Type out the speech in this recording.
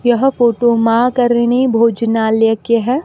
यह फोटो मां करणी भोजनालय के है।